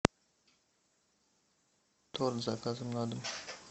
торт с заказом на дом